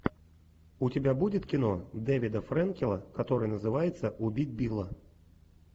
у тебя будет кино дэвида френкеля которое называется убить билла